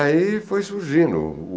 Aí foi surgindo.